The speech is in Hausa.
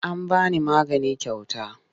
An ba ni magani kyauta.